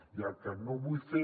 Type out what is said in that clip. i el que no vull fer